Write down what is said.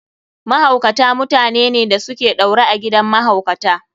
Mahaukata mutanene da su ke ɗaure a gidan mahaukata.